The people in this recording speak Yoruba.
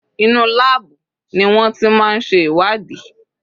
Inú láàbù ni wọ́n ti máa ń ṣe ìwádìí.